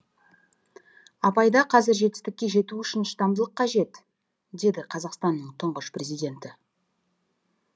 абайда қазір жетістікке жету үшін шыдамдылық қажет деді қазақстанның тұңғыш президенті